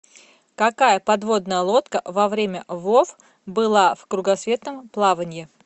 какая подводная лодка во время вов была в кругосветном плавании